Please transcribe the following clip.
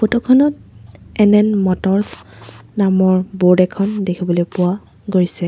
Photo খনত এন_এন মটৰছ নামৰ ব'ৰ্ড এখন দেখিবলৈ পোৱা গৈছে।